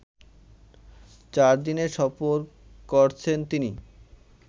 চারদিনের সফর করছেন তিনি